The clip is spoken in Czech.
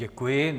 Děkuji.